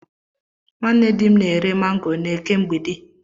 Nwanne dị m na-ere mango n'Eke mgbidi.